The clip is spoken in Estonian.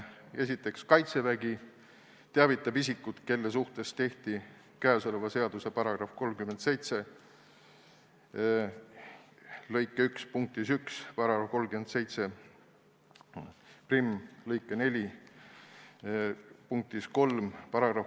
Esiteks, Kaitsevägi teavitab puudutatud isikut ja täiendatakse seaduse § 37 lõike 1 punkti 1, § 371 lõiget 4 punkti 3 ...